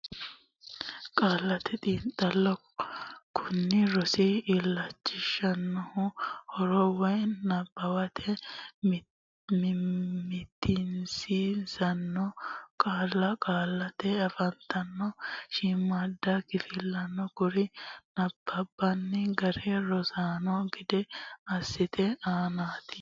Qaallate Xiinxallo Kuni rosi illachishannohu haaro woy nabbawate mitiinsitanno qaalla qaallate afantanno shiimmaadda kifillanna kuri nabbanbanni gara rossanno gede assate aanaati.